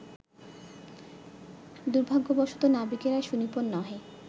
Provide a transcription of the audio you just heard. দুর্ভাগ্যবশত নাবিকেরা সুনিপুণ নহে